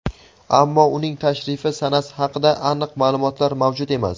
ammo uning tashrifi sanasi haqida aniq ma’lumotlar mavjud emas.